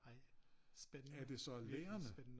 Ej spændende virkelig spændende